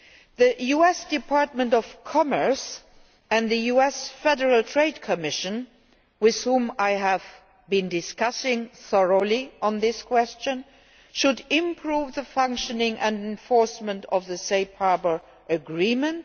The US Department of Commerce and the US Federal Trade Commission, with whom I have thoroughly discussed this question, should improve the functioning and enforcement of the Safe Harbour agreement.